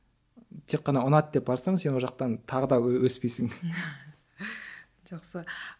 тек қана ұнады деп барсаң сен ол жақтан тағы да өспейсің жақсы